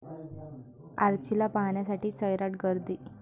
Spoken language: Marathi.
आर्चीला पाहण्यासाठी सैराट गर्दी